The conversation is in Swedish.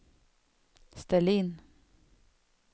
ställ in